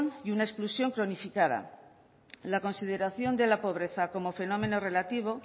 y una exclusión cronificada la consideración de la pobreza como fenómeno relativo